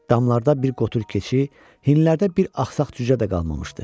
Damlarda bir qotur keçi, hinlərdə bir axsaq cücə də qalmamışdı.